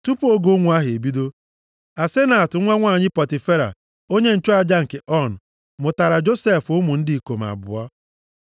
Tupu oge ụnwụ ahụ ebido, Asenat nwa nwanyị Pọtifera, onye nchụaja nke On, mụtara Josef ụmụ ndị ikom abụọ.